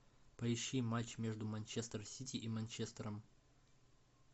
поищи матч между манчестер сити и манчестером